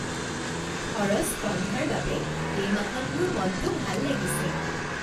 খৰচ কম হোৱাৰ বাবে এই মাহত মোৰ মনটো ভাল লাগিছে।